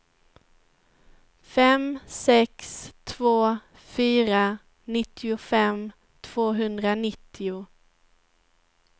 fem sex två fyra nittiofem tvåhundranittio